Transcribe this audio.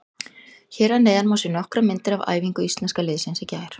Hér að neðan má sjá nokkrar myndir af æfingu Íslenska liðsins í gær.